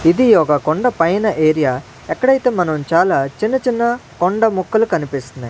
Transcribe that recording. ఇది ఒక కొండ పైన ఏరియా ఎక్కడైతే మనం చాలా చిన్న చిన్న కొండ మొక్కలు కనిపిస్తున్నాయ్.